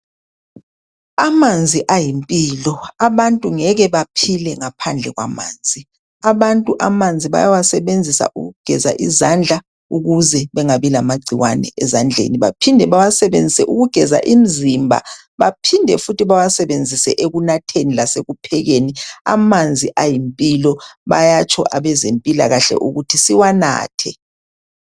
Amanzi ayimpilo abantu ngeke baphile ngaphandle kwamanzi. Abantu amanzi bayawasebenzisa ukugeza izandla ukuze bengabi lamagciwane ezandleni. Baphinde bawasebenzise ukugeza imizimba, baphinde futhi bawasebenzise ekunatheni lasekuphekeni. Amanzi ayimpilo bayatsho abezempilakhle ukuthi siwanathe.